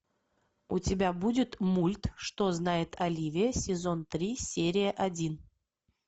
у тебя будет мульт что знает оливия сезон три серия один